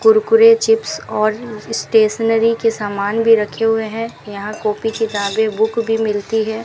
Kurkure chips और stationery के सामान भी रखे हुए हैं यहां कॉपी किताबें बुक भी मिलती है।